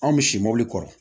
Anw bɛ si mobili kɔrɔ